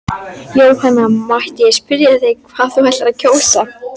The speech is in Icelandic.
Jóhanna: Mætti ég spyrja hvað þú ætlar að kjósa?